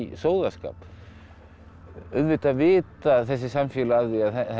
sóðaskap auðvitað vita þessi samfélög af því